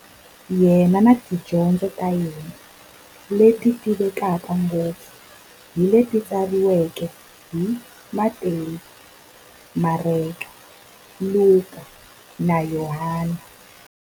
Yena na tidyondzo ta yena, leti tivekaka ngopfu hi leti tsariweke hi-Matewu, Mareka, Luka, na Yohani.